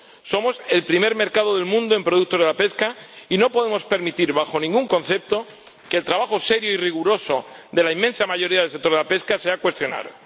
Somos el primer mercado del mundo en productos de la pesca y no podemos permitir bajo ningún concepto que el trabajo serio y riguroso de la inmensa mayoría del sector de la pesca sea cuestionado.